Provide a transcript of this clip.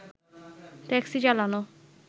taxi চালানো